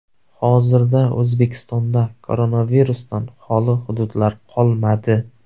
Hozirda O‘zbekistonda koronavirusdan xoli hududlar qolmadi.